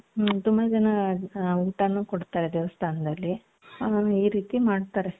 ಹ್ಮ್ ತುಂಬಾ ಜನ ಊಟಾನು ಕೊಡ್ತಾರೆ ದೇವಸ್ಥಾನದಲ್ಲಿ ಆ ಈ ರೀತಿ ಮಾಡ್ತಾರೆ .